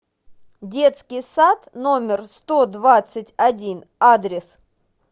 детский сад номер сто двадцать один адрес